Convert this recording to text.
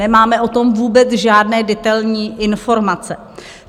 Nemáme o tom vůbec žádné detailní informace.